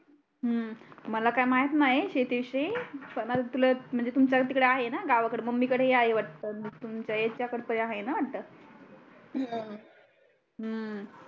हम्म मला काय माहीत नाही शेती विषयी पण तुमच्या तीकडे आहे ना गावाकडे मम्मी कडे आहे वाटत हम्म